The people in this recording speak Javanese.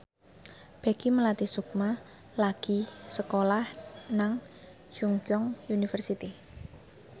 Peggy Melati Sukma lagi sekolah nang Chungceong University